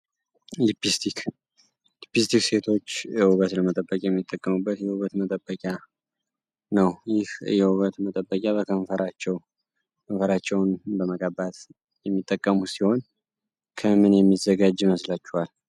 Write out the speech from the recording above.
ሊፕስቲክ ሴቶች የውገት ለመጠበቂ የሚጠቀሙበት የውበት መጠበቂያ ነው። ይህ የውበት መጠበቂያ በከንፈራቸው ከንፈራቸውን በመቀባት የሚጠቀሙት ሲሆን ከምን የሚዘጋጅ መስላቸዋል?